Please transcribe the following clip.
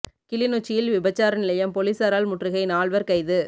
கிளிநொச்சியில் விபச்சார நிலையம் பொலிசாரால் முற்றுகை நால்வர் கைது